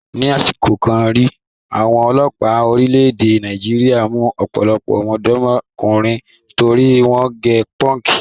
Ni àsìkò kan rí, àwọn ọlọ́pàá orílẹ̀-èdè Nàìjíríà mú ọ̀pọ̀lọpọ̀ ọ̀dọ́mọdékùnrin torí wọ́n gẹ pọ́ǹkì.